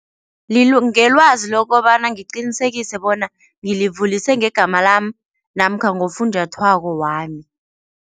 Ngelwazi lokobana ngiqinisekise bona ngilivulise ngegama lami namkha ngofunjathwako wami.